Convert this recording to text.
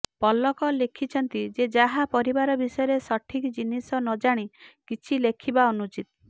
ପଲକ ଲେଖିଛନ୍ତି ଯେ କାହା ପରିବାର ବିଷୟରେ ସଠିକ୍ ଜିନିଷ ନଜାଣି କିଛି ଲେଖିବା ଅନୁଚିତ୍